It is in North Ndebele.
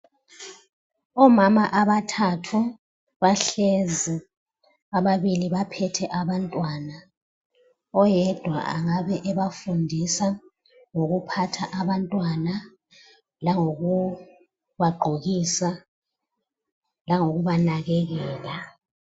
Omama abathathu bahlezi, ababili baphethe abantwana. Oyedwa angabe ebafundisa ngokuphatha abantwana langokubagqokisa langokubanakekela.